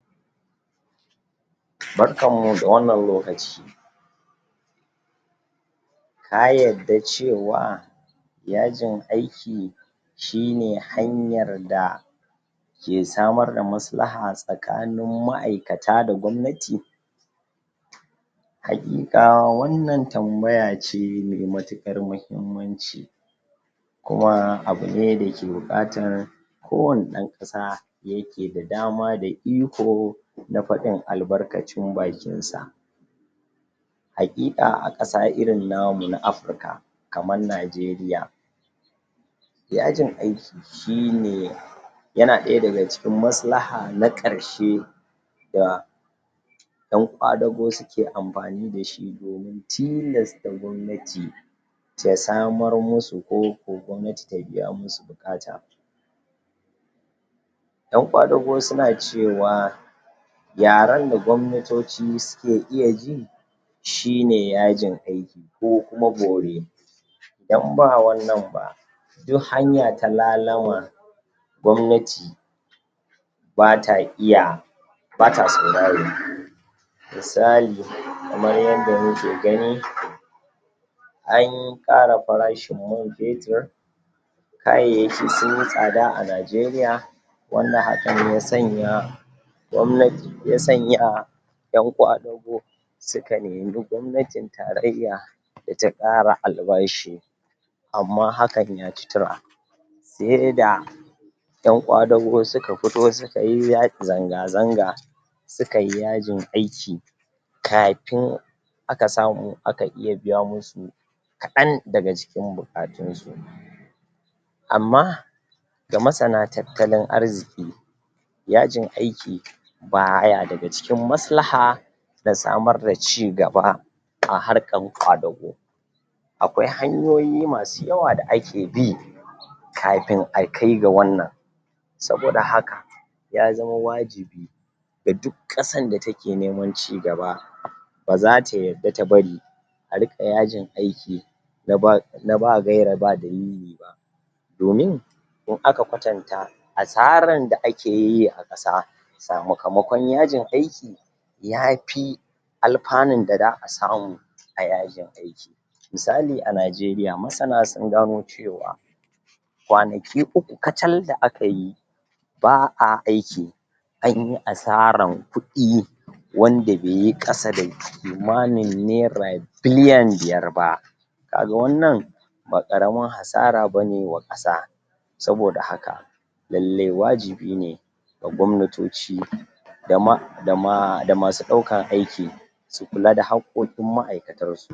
barkan mu da wannan lokaci kayarda cewa ya jin aiki shine hanyar da ke samar da maslaha tsakanin ma'aikata da gwamnati hakika wannan tambaya ce me matukar mahimmanci kuma abu ne da ke buƙatar ko wanne ɗan ƙasa da yake da dama da iko na faɗin albarkacin bakinsa hakika a ƙasa irin namu na africa kamar nageria yajin aiki shine yana ɗaya daga cikin maslaha na karshe da ƴan ƙwadago suke amfani dashi domin tilasta gwamnati ya samar musu ko gwamnati ta biya musu buƙata ƴan ƙwadago suna cewa yaran da gwamnatoci suke iya ji shine yajin aiki ko kuma bore idan ba wannan ba duk hanya ta lalama gwamnati bata iya bata sauraro misali kamar yanda muke gani anƙara farashin man fetir kayayyaki sunyi tsada a nigeria wanda hakan ya sanya gwamnati ya sanya ƴan ƙwadago suka neme gwamnatin tarayya data ƙara albashi amma hakan yaci tura sai da ƴan ƙwadago suka fito sukayi zanga zanga sukayi yajin aiki kafin aka samu aka biya musu kaɗan daga cikin buƙatun su amma ga masana tattalin arziki yajin aiki baya daga cikin maslaha nasamar da cigaba a harkan ƙwadago akwai hanyoyi masu yawa da ake bi kafin akai ga wannan saboda haka ya zama wajibi ga duk ƙasan da take neman cigaba baza ta yadda ta bari a riƙa ya jin aiki na ba gaira ba dalili ba domin in aka kwatanta asaran da akeyi a ƙasa sakamaƙon yajin aiki yafi alfanun da za a samu a yajin aiki misali a nigeria masana sungano cewa kwanaki uku kacal da akayi ba a aiki anyi asaran kuɗi wanda beyi ƙasa da kimanin naira biliyan biyar ba kaga wannan ba ƙaramin hasara bane wa ƙasa saboda haka lallai wajibi ne da gwamna da masu ɗaukan aiki su kula da hakkokin ma'aikatansu